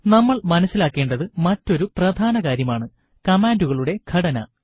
നമ്മൾ മനസിലാക്കേണ്ട മറ്റൊരു പ്രധാന കാര്യം ആണ് കമാണ്ടുകളുടെ ഘടന